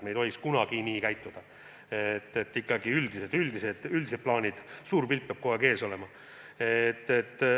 Me ei tohiks kunagi nii teha – ikkagi üldised plaanid, suur pilt peab kogu aeg ees olema.